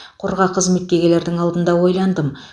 қорға қызметке келердің алдында ойландым